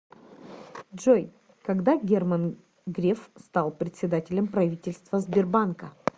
джой когда герман греф стал председателем правительства сбербанка